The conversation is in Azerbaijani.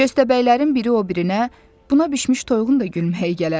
Köstəbəklərin biri o birinə, buna bişmiş toyuğun da gülməyi gələr.